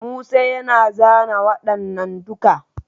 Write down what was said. Musa yana zana waɗannan duka.